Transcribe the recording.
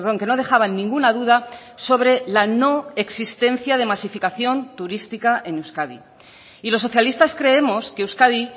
que no dejaban ninguna duda sobre la no existencia de masificación turística en euskadi y los socialistas creemos que euskadi